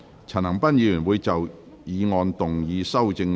陳恒鑌議員會就議案動議修正案。